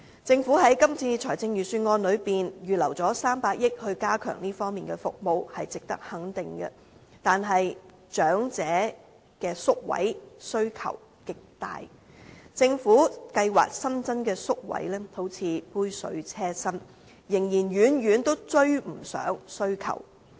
政府在今次預算案預留300億元加強這方面的服務，是值得肯定的，但長者的宿位需求極大，政府計劃新增的宿位仿如杯水車薪，仍然遠遠追不上需求。